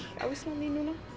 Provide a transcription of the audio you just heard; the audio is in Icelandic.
á Íslandi núna